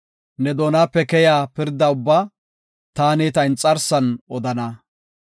Ne doonape keyiya pirda ubbaa taani ta inxarsan odana.